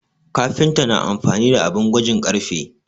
Kafinta na amfani da abin gwajin ƙarfe